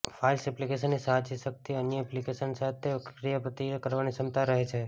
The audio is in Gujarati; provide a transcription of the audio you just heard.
ફાઇલ્સ એપ્લિકેશનની સાચી શક્તિ અન્ય એપ્લિકેશનો સાથે ક્રિયાપ્રતિક્રિયા કરવાની ક્ષમતામાં રહે છે